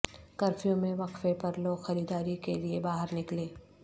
curfew میں وقفے پر لوگ خریداری کے لیے باہر نکلے